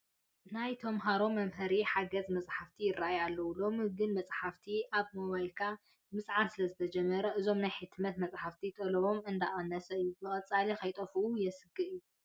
ናይ ተመሃሮ መምሃሪ ሓጋዚ መፃሕፍቲ ይርአዩ ኣለዉ፡፡ ሎሚ ግን መፃሕፍቲ ኣብ ሞባይልካ ምፅዓን ስለዝተጀመረ እዞም ናይ ሕትመት መፃሕፍቲ ጠለቦም እንዳቐነሰ እዩ፡፡ ብቐፃሊ ከይጠፍኡ የስግእ እዩ፡፡